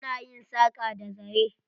Ana yin saƙa da zare.